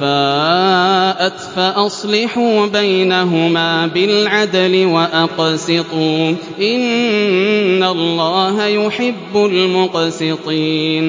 فَاءَتْ فَأَصْلِحُوا بَيْنَهُمَا بِالْعَدْلِ وَأَقْسِطُوا ۖ إِنَّ اللَّهَ يُحِبُّ الْمُقْسِطِينَ